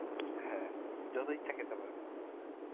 হ্যা যত ইচ্ছে খেতে পারো.